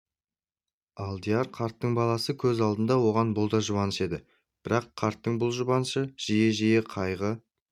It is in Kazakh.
алдияр қарттың баласы көз алдында оған бұл да жұбаныш еді бірақ қарттың бұл жұбанышын жиі-жиі қайғы